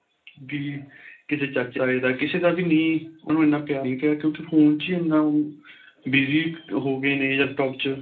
B ਕਿਸੇ ਚਾਚੇ ਤਾਏ ਦਾ ਕਿਸੇ ਦਾ ਵੀ ਨੀਂ ਉਹਨੂੰ ਇੰਨਾ ਪਿਆਰ ਨੀ ਰਿਹਾ ਕਿਉਂ ਕੀ phone ਚ ਈ ਇੰਨਾ ਉਹ busy ਹੋ ਗਏ ਨੇ laptop ਚ